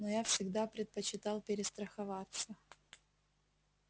но я всегда предпочитал перестраховаться